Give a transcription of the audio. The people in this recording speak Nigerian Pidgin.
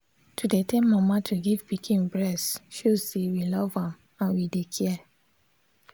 to dey tell mama to give pikin breast show say we love am and we dey care.